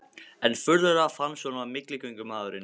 Enn furðulegra fannst honum að milligöngumaðurinn